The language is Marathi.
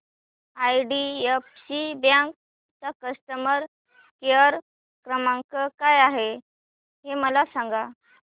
आयडीएफसी बँक चा कस्टमर केयर क्रमांक काय आहे हे मला सांगा